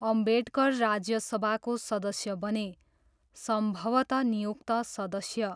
अम्बेडकर राज्यसभाको सदस्य बने, सम्भवतः नियुक्त सदस्य।